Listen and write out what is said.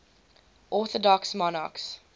orthodox monarchs